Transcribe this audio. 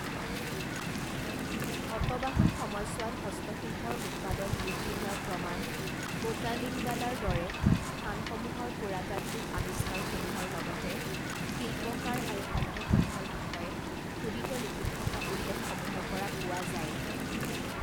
সতবাহন সময়ছোৱাত হস্তশিল্পৰ উৎপাদন বৃদ্ধি হোৱাৰ প্ৰমাণ কোটালিংগালাৰ দৰে স্থানসমূহৰ পুৰাতাত্ত্বিক আবিষ্কাৰসমূহৰ লগতে শিল্পকাৰ আৰু সংঘসমূহৰ বিষয়ে খোদিত লিপিত থকা উল্লেখসমূহৰ পৰা পোৱা যায়।